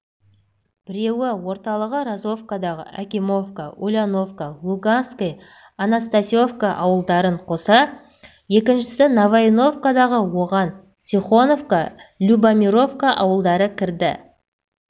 біреуі орталығы розовкадағы акимовка ульяновка луганское анастасьевка ауылдарын қоса екіншісі новоивановкада оған тихоновка любомировка ауылдары кірді